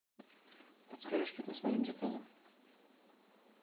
подскажи что там с моим заказом